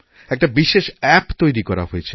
একটা বিশেষ অ্যাপ তৈরি করা হয়েছে